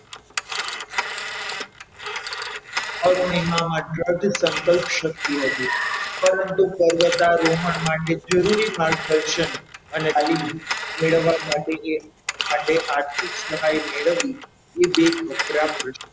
અરુણિમામાં દ્રઢ સંકલ્પ શક્તિ હતી પરંતુ પર્વતારોહણ માટે જરૂરી માર્ગદર્શન અને તાલીમ મેળવવા માટે જે માટે આર્થિક સહાય મેળવવી એ બે કપરા પ્રશ્નો હતા.